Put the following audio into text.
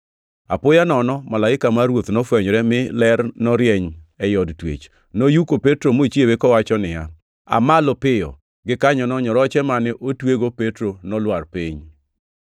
Apoya nono malaika mar Ruoth nofwenyore, mi ler norieny ei od twech. Noyuko Petro mochiewe kowacho niya, “Aa malo piyo.” Gikanyono nyoroche mane otwego Petro nolwar piny.